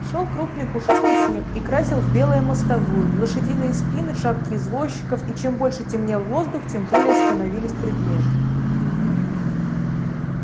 шёл крупный пушистый снег и красил в белое мостовую лошадиные спины шапки извозчиков и чем больше темнел воздух тем белее становились предметы